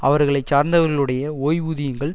அவர்களை சார்ந்தவர்களுடைய ஓய்வூதியங்கள்